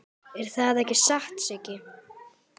Er það ekki satt, Siggi?